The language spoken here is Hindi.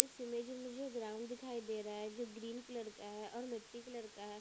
इस इमेज में मुझे ग्राउंड दिखाई दे रहा है जो ग्रीन कलर का है और मिट्टी कलर का है।